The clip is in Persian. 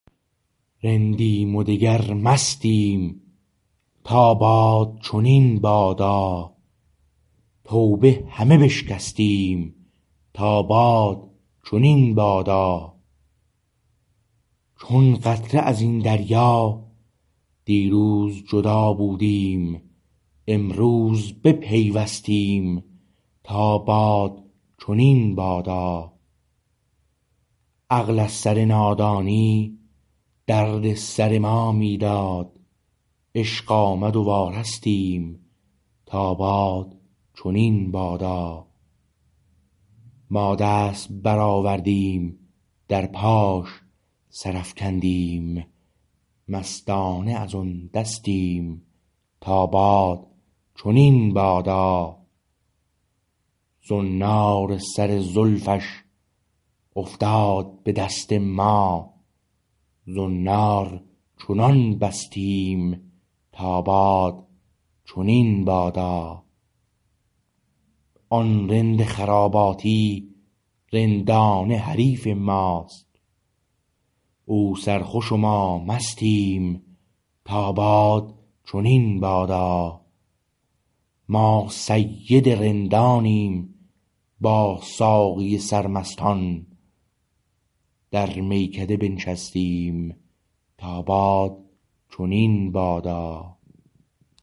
رندیم و دگر مستیم تا باد چنین بادا توبه همه بشکستیم تا باد چنین بادا چون قطره ازین دریا دیروز جدا بودیم امروز بپیوستیم تا باد چنین بادا عقل از سر نادانی درد سر ما می داد عشق آمد و وارستیم تا باد چنین بادا ما دست برآوردیم در پاش سر افکندیم مستانه از آن دستیم تا باد چنین بادا زنار سر زلفش افتاد به دست ما زنار چنان بستیم تا باد چنین بادا آن رند خراباتی رندانه حریف ماست او سرخوش و ما مستیم تا باد چنین بادا ما سید رندانیم با ساقی سرمستان در میکده بنشستیم تا باد چنین بادا